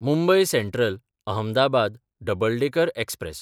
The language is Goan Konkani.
Mumbai Central-Ahmedabad double decker express